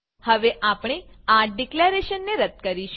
હવે આપણે આ ડીકલેરેશનને રદ્દ કરીશું